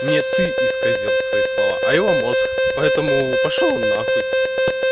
не ты исказил свои слова а его мозг поэтому пошёл он на хуй